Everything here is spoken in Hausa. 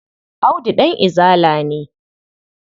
Audu ɗan Izala ne.